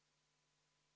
Head kolleegid siin saalis!